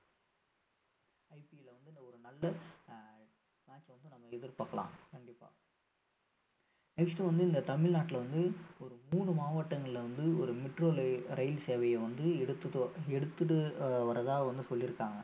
IPL ல வந்து ஒரு நல்ல ஆஹ் match வந்து நம்ப எதிர்பாக்கலாம் கண்டிப்பா next வந்து இந்த தமிழ்நாட்டுல வந்து ஒரு மூணு மாவட்டங்கள்ல வந்து ஒரு metro லயி~ ரயில் சேவையை வந்து எடுத்துட்டு வ~எடுத்துட்டு ஆஹ் வர்றதா வந்து சொல்லியிருக்காங்க